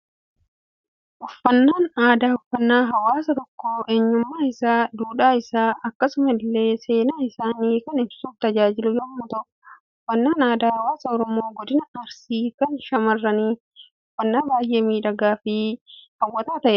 Uffannaan aadaa, uffannaa hawaasa tokko eenyummaa isaa, duudhaa isaa, akkasuma illee seenaa isaanii kan ibsuuf tajaajilu yemmuu ta'u, uffannaan aadaa hawaasa Oromoo godina Arsii kan shamaarranii, uffannaa baayyee miidhagaa fi hawwataa ta'edha.